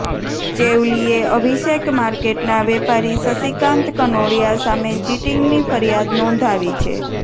ચેવલીએ અભિષેક માર્કેટના વેપારી શશીકાંત કનોડિયા સામે ચિટિંગની ફરિયાદ નોંધાવી છે